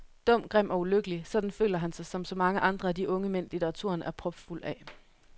Dum, grim og ulykkelig, sådan føler han sig som så mange andre af de unge mænd, litteraturen er propfuld af.